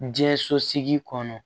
Diɲɛ sosigi kɔnɔ